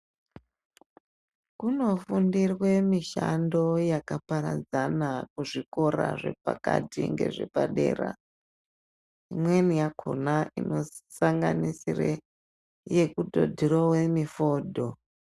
Kunofundirwe mishando yakaparadzana kuzvikora zvepakati ngezvepadera. Imweni yakona inosanganisire yekutodhurova mifodho.